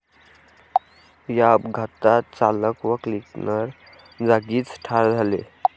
या अपघातात चालक व क्लिनर जागीच ठार झाले.